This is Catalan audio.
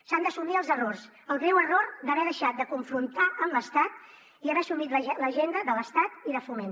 s’han d’assumir els errors el greu error d’haver deixat de confrontar amb l’estat i haver assumit l’agenda de l’estat i de foment